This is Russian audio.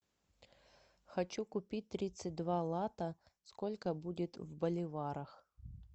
хочу купить тридцать два лата сколько будет в боливарах